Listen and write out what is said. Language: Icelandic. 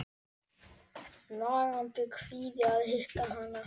Nagandi kvíði að hitta hana.